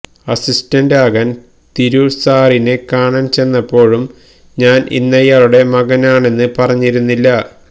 assistant ആകാന് തിരു സാറിനെ കാണാന് ചെന്നപ്പോഴും ഞാന് ഇന്നയാളുടെ മകനാണെന്ന് പറഞ്ഞിരുന്നില്ല